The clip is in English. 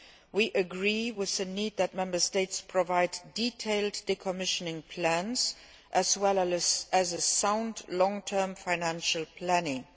We agree with the need for Member States to provide detailed decommissioning plans, as well as sound long term financial planning.